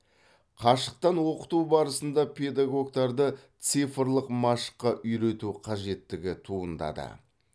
қашықтан оқыту барысында педагогтарды цифрлық машыққа үйрету қажеттігі туындады